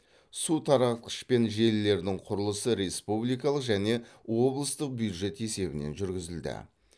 су таратқыш пен желілердің құрылысы республикалық және облыстық бюджет есебінен жүргізілді